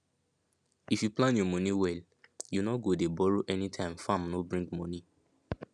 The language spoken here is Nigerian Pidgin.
if you plan your money well you no go dey borrow anytime farm no bring money